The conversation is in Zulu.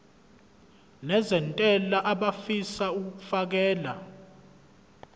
nezentela abafisa uukfakela